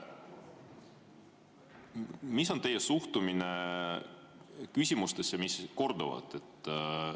Milline on teie suhtumine küsimustesse, mis korduvad?